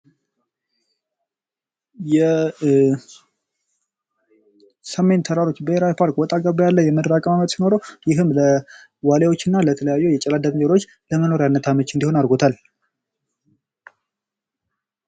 የሰሜን ተራሮች ብሔራዊ ባርክ ወጣ ገባ ያለ የምድር አቀማመጥ ሲኖረዉ ይህም ለዋልያዎች እና ለተለያዩ የጨላዳ ዝንጀሮዎች ለመኖሪያነት አመች እንዲሆን አድርጎታል።